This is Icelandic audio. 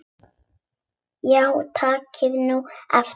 Já takið nú eftir.